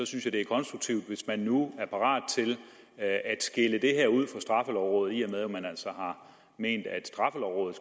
synes jeg det er konstruktivt hvis man nu er parat til at skille det her ud fra straffelovrådet i og med at man altså har ment at straffelovrådet